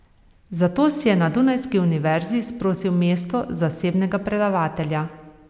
Zato si je na dunajski univerzi izprosil mesto zasebnega predavatelja.